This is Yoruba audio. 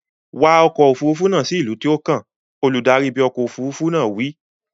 Wa ọkọ̀ òfuurufú náà lọ sí ìlú tó kàn! Olùdarí ibi ọkọ̀ òfuurufú náà wí.